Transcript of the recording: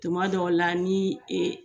Tuma dɔw la ni e